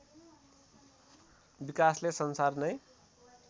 विकासले संसार नै